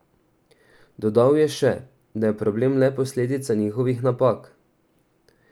Dodal je še da je problem le posledica njihovih napak.